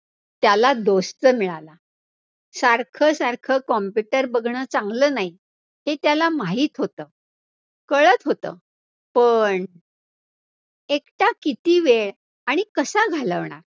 त्याला तर मिळाला, सारखं सारखं computer बघणं चांगलं नाही, हे त्याला माहित होतं, कळतं होतं पण एकटा किती वेळ आणि कसा घालवणार.